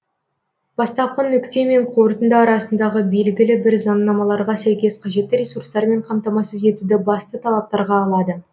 бастапқы нүкте мен қорытынды арасындағы белгілі бір заңнамаларға сәйкес қажетті ресурстармен қамтамасыз етуді басты талаптарға алады